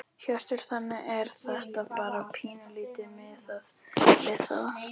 Hjörtur: Þannig að þetta bara pínulítið miðað við það?